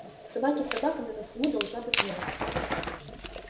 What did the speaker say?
собаки собаками но всему должна быть мера